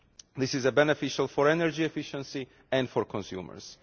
This is beneficial for energy efficiency and for consumers.